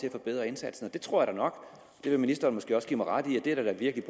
at forbedre indsatsen jeg tror nok at ministeren måske vil give mig ret i at der da virkelig